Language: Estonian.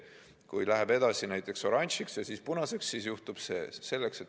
Kui läheb edasi näiteks oranžiks ja siis punaseks, siis juhtub see.